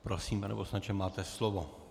Prosím, pane poslanče, máte slovo.